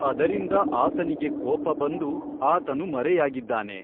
ಅದರಿಂದ ಆತನಿಗೆ ಕೋಪ ಬಂದು ಆತನು ಮರೆಯಾಗಿದ್ದಾನೆ.